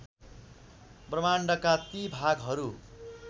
ब्रह्माण्डका ती भागहरू